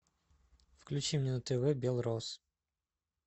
включи мне на тв белрос